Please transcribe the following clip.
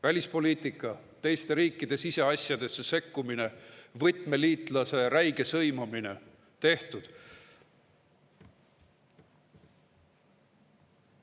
Välispoliitika, teiste riikide siseasjadesse sekkumine, võtmeliitlase räige sõimamine – tehtud.